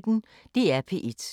DR P1